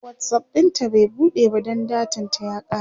WhatsApp ɗinta bai buɗe ba Dan datan ta ya kare